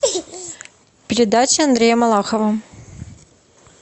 передача андрея малахова